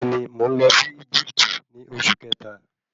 Bẹ́ẹ̀ni, mo nlọ sí Egipti ní oṣù kẹta